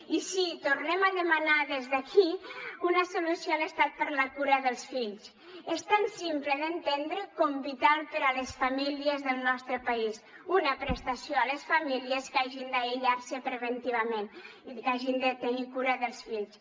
i sí tornem a demanar des d’aquí una solució a l’estat per a la cura dels fills és tan simple d’entendre com vital per a les famílies del nostre país una prestació a les famílies que hagin d’aïllar se preventivament i que hagin de tenir cura dels fills